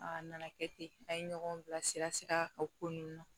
A nana kɛ ten an ye ɲɔgɔn bilasira sira o ko ninnu na